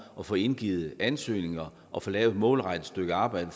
at få indgivet ansøgninger og at få lavet et målrettet stykke arbejde